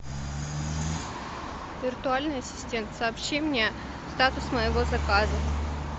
виртуальный ассистент сообщи мне статус моего заказа